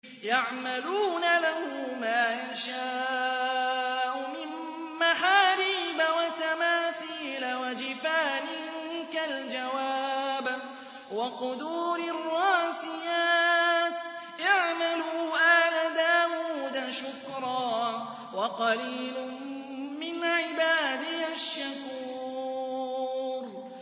يَعْمَلُونَ لَهُ مَا يَشَاءُ مِن مَّحَارِيبَ وَتَمَاثِيلَ وَجِفَانٍ كَالْجَوَابِ وَقُدُورٍ رَّاسِيَاتٍ ۚ اعْمَلُوا آلَ دَاوُودَ شُكْرًا ۚ وَقَلِيلٌ مِّنْ عِبَادِيَ الشَّكُورُ